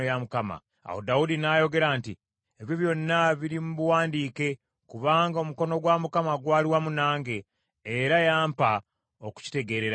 Awo Dawudi n’ayogera nti, “Ebyo byonna biri mu buwandiike, kubanga omukono gwa Mukama gwali wamu nange, era yampa okukitegeerera ddala.”